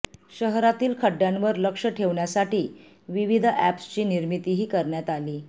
शहरातील खड्ड्यांवर लक्ष ठेवण्यासाठी विविध अॅप्सची निर्मितीही करण्यात आली